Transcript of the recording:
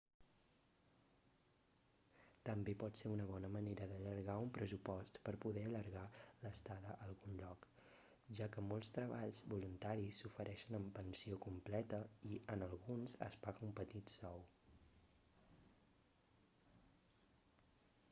també pot ser una bona manera d'allargar un pressupost per poder allargar l'estada a algun lloc ja que molts treballs voluntaris s'ofereixen amb pensió completa i en alguns es paga un petit sou